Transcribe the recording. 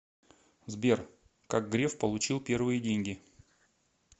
сбер как греф получил первые деньги